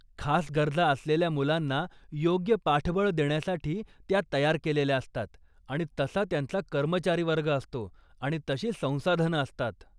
खास गरजा असलेल्या मुलांना योग्य पाठबळ देण्यासाठी त्या तयार केलेल्या असतात आणि तसा त्यांचा कर्मचारीवर्ग असतो आणि तशी संसाधनं असतात.